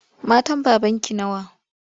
Matan babanki nawa?